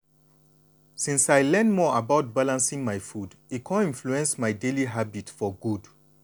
since i learn more about balancing my food e come influence my daily habit for good.